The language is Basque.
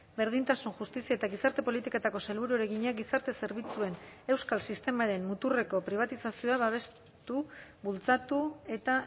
berdintasun justizia eta gizarte politiketako sailburuari egina gizarte zerbitzuen euskal sistemaren muturreko pribatizazioa babestu bultzatu eta